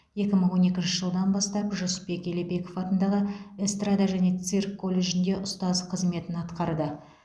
екі мың он екінші жылдан бастап жүсіпбек елебеков атындағы эстрада және цирк колледжінде ұстаз қызметін атқарды